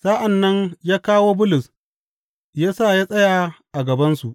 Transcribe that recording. Sa’an nan ya kawo Bulus ya sa ya tsaya a gabansu.